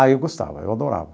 Ah, eu gostava, eu adorava.